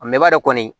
A m'a dɔn kɔni